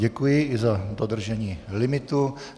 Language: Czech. Děkuji i za dodržení limitu.